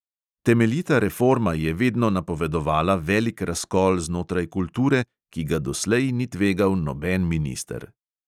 Temeljita reforma je vedno napovedovala velik razkol znotraj kulture, ki ga doslej ni tvegal noben minister.